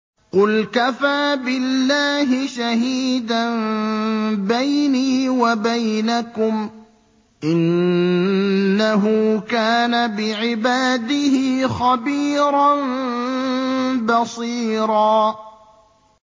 قُلْ كَفَىٰ بِاللَّهِ شَهِيدًا بَيْنِي وَبَيْنَكُمْ ۚ إِنَّهُ كَانَ بِعِبَادِهِ خَبِيرًا بَصِيرًا